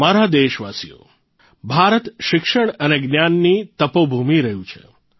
મારા દેશવાસીઓ ભારત શિક્ષણ અને જ્ઞાનની તપોભૂમિ રહ્યું છે